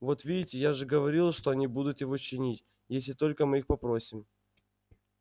вот видите я же говорил что они будут его чинить если только мы их попросим